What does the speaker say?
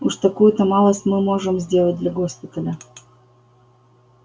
уж такую-то малость мы можем сделать для госпиталя